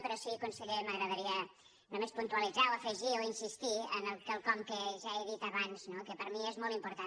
però sí que conseller m’agradaria només puntualitzar o afegir o insistir en quelcom que ja he dit abans no que per mi és molt important